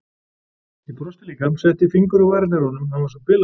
Ég brosti líka, setti fingur á varirnar á honum, hann var svo bilaður.